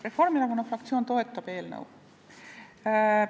Reformierakonna fraktsioon toetab eelnõu.